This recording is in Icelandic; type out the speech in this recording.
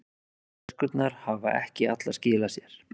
Töskurnar hafa ekki allar skilað sér